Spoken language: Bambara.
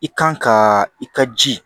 I kan ka i ka ji